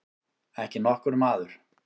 Ekki nokkur maður.